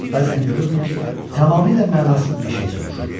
Bəzən görürdün ki, tamamilə mənasız bir şey soruşur.